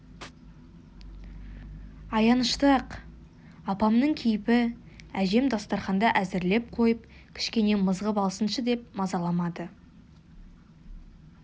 аянышты-ақ еді апамның кейпі әжем дастарқанды әзірлеп қойып кішкене мызғып алсыншы деп мазаламады